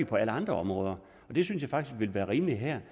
på alle andre områder og det synes jeg faktisk ville være rimeligt her